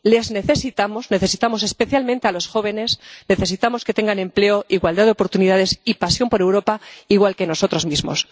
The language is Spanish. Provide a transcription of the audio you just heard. Les necesitamos, necesitamos especialmente a los jóvenes, necesitamos que tengan empleo, igualdad de oportunidades y pasión por Europa, igual que nosotros mismos.